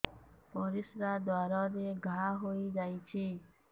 ପରିଶ୍ରା ଦ୍ୱାର ରେ ଘା ହେଇଯାଇଛି